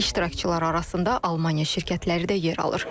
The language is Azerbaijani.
İştirakçılar arasında Almaniya şirkətləri də yer alır.